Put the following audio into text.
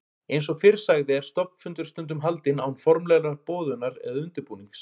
Eins og fyrr sagði er stofnfundur stundum haldinn án formlegrar boðunar eða undirbúnings.